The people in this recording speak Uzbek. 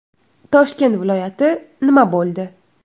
Toshkent viloyati nima bo‘ldi?